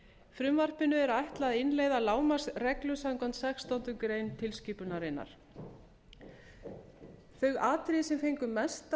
frumvarpinu ætlað að innleiða lágmarksreglur samkvæmt sextándu grein tilskipunarinnar þau atriði sem fengu mesta